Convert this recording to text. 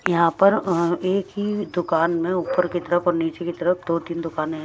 यहाँ पर एक ही दुकान में ऊपर की तरफ और नीचे की तरफ दो-तीन दुकाने हैं --